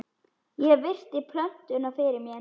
Ég virti plötuna fyrir mér.